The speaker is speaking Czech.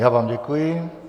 Já vám děkuji.